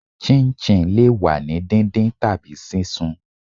chinchin le wa ni díndín tabi sisún